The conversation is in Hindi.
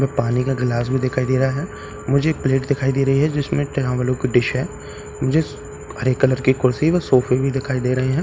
में पानी का गिलास भी दिखाई दे रहा है मुझे एक प्लेट दिखाई दे रही है जिसमे डिश है मुझे हरे कलर की कुर्सी व सोफ़े भी दिखाई दे रहे है ।